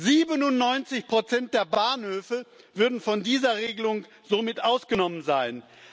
97 der Bahnhöfe würden von dieser Regelung somit ausgenommen sein.